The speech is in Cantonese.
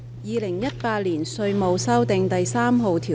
《2018年稅務條例草案》。